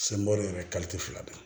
yɛrɛ fila don